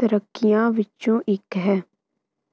ਤਰੀਕਿਆਂ ਵਿੱਚੋਂ ਇੱਕ ਹੈ